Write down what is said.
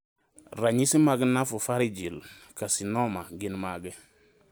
Ranyisi mag Nasopharyngeal carcinoma gin mage?